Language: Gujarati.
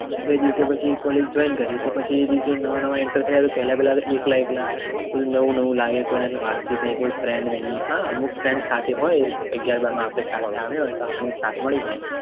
તો પછી એ દિવસે College joint કર્યું તો પછી એ દિવસે નવા નવા Enter થયા તો પેહલા પેહલા એકલા એકલા કોઈ નવું નવું લાગે કોઈ નથી વાત ચિટ નાઈ કોઈ friend નહિ હા અમુક friend સાથે હોય અગિયાર બાર માં આપણી સાથે આવ્યા હોય તો આપણને સાથે મળી જાય